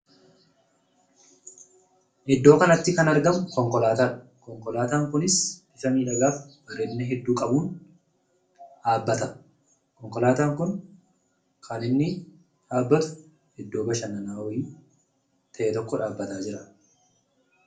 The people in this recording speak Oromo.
Iddoo kanatti kan argamu konkolaataadha. Konkolaataan kunis bifa miidhagaaf bareedina hedduu qabuun dhaabbata. Konkolaataan kun kan inni dhaabbatu iddoo bashannanaa wayii ta'e tokko dhaabbataa jira.